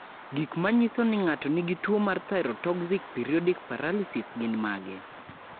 Gik manyiso ni ng'ato nigi tuwo mar Thyrotoxic periodic paralysis gin mage?